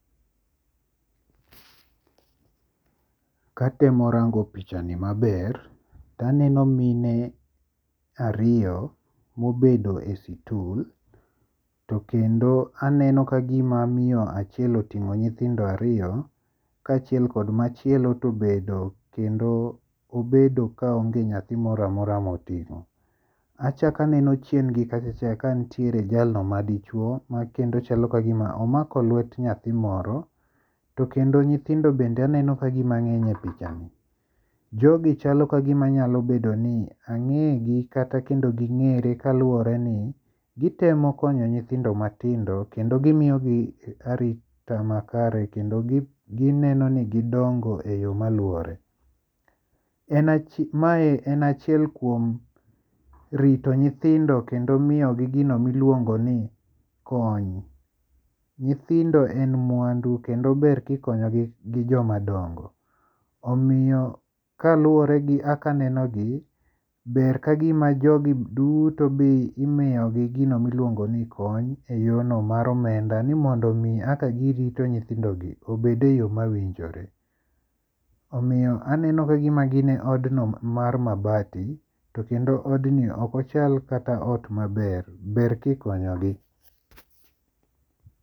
Katemo rango pichani maber to aneno mine ariyo mobedo e situl. To kendo aneno kagima miyo achiel oting'o nyithindo ariyo kachiel kod machielo tobedo kendo obedo ka onge nyathi moro amora moting'o. Achak aneno chien gi kacha cha ka nitiere jalno ma dichuo ma kendo chal kagima omako lwet nyathi moro. To kendo nyithindo bende aneno kagima ng'eny e pichani. Jogi chalo kagima nyalo bedo ni ang'e gi kata kendo ging'ere kaluwore ni gitemo konyo nyithindo matindo kendo gimiyogi arita makare kendo gineno ni gindongo e yo maluwore. En mae en achiel kuom rito nyithindo kendo miyogi gino miluongo ni kony. Nyithindo en mwandu kendo ber kikonyogi gi joma dongo. Omiyo kaluwore gi kaka aneno gi, ber kagima jogi duto be imiyogi gino miluongo ni kony e yo no mar omenda ni mondo mi kaka girito nyithindogi obede yo mawinjore. Omiyo aneno kagima gi e odno mar mabati. To kendo od ni ok ochal kata ot maber. Ber kikonyo gi.